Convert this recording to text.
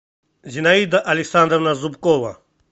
зинаида александровна зубкова